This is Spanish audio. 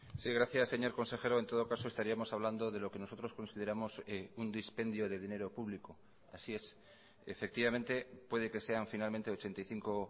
sí gracias señor consejero en todo caso estaríamos hablando de lo que nosotros consideramos un dispendio de dinero público así es efectivamente puede que sean finalmente ochenta y cinco